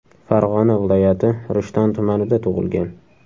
Farg‘ona viloyati Rishton tumanida tug‘ilgan.